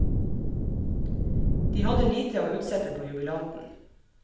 De hadde lite å utsette på jubilanten.